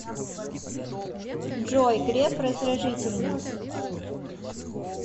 джой греф раздражительный